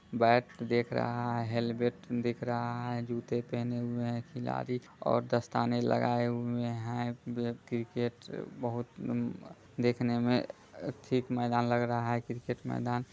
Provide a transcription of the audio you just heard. bat देख रहा है हेलमेट दिख रहा है जुते पहने हुए हैं खिलाड़ी और दस्ताने लगाये हुए हैं वे क्रिकेट बहुत नन देखने मे ठीक मैदान लग रहा है क्रिकेट मैदान--